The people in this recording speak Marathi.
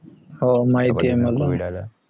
हो माहिती आहे मला